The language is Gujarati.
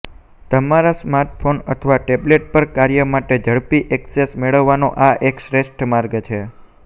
તમારા સ્માર્ટફોન અથવા ટેબ્લેટ પર કાર્ય માટે ઝડપી ઍક્સેસ મેળવવાનો આ એક શ્રેષ્ઠ માર્ગ છે